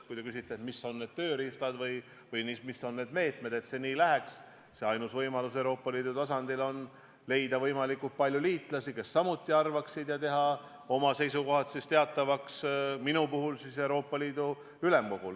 Kui te küsite, millised on need tööriistad või meetmed, et see nii läheks, siis ainus võimalus seda saavutada on leida Euroopa Liidu tasandil võimalikult palju liitlasi, kes arvaksid samamoodi, ja teha oma seisukohad teatavaks, minu puhul Euroopa Liidu ülemkogul.